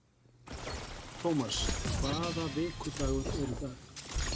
Thomas, hvaða vikudagur er í dag?